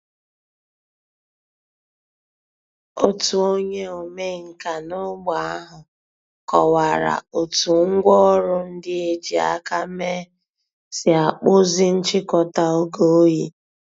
Ọ̀tù ònyè òmènkà n’ógbè àhụ̀ kọ̀wárà ó̩tù ngwá òrụ̀ ńdí è jì àkà mée sì àkpụ̀zì nchị̀kò̩tà ògè òyì.